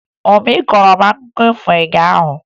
Obi kọọrọ m akụkọ ifo ụnyaahụ